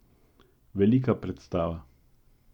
Velika predstava.